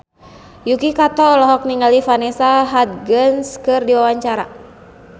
Yuki Kato olohok ningali Vanessa Hudgens keur diwawancara